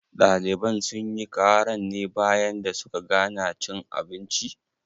Ɗaliban sunyi karan ne bayan da suka gana cin abinci?